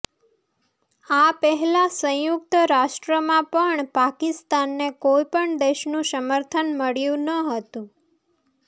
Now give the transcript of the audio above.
આ પહેલા સંયુક્ત રાષ્ટ્રમાં પણ પાકિસ્તાનને કોઈ પણ દેશનું સમર્થન મળ્યું ન હતું